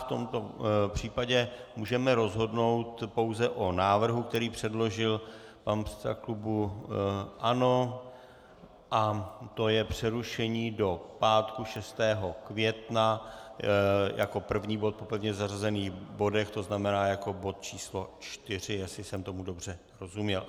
V tomto případě můžeme rozhodnout pouze o návrhu, který předložil pan předseda klubu ANO, a to je přerušení do pátku 6. května jako první bod po pevně zařazených bodech, to znamená jako bod číslo 4, jestli jsem tomu dobře rozuměl.